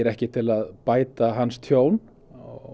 ekki til að bæta hans tjón